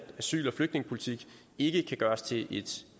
asyl og flygtningepolitik ikke kan gøres til et